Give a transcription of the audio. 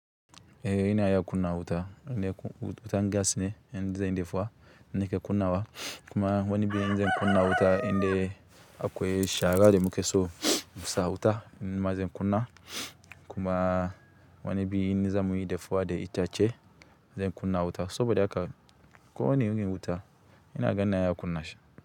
Ehh ina iya kuna wuta, ne ko wuta gas ne in zan dafa nake kunawa kuma wani bi in zan kunna wuta indai akwai shara da mukeso musa wuta in ma zan kunna kuma wani bi in zamuyi defa da itace zan kunna wuta saboda haka ko wane irin wuta inaga ina iya kunna shi.